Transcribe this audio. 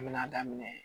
An bɛna daminɛ